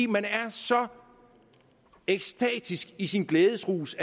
man er så ekstatisk i sin glædesrus